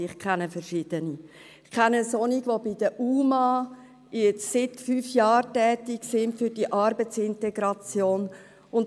Ich kenne Menschen, die seit fünf Jahren bei der Arbeitsintegration für unbegleitete minderjährige Asylsuchende (UMA) tätig sind.